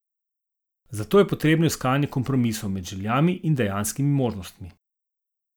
Zato je potrebno iskanje kompromisov med željami in dejanskimi možnostmi.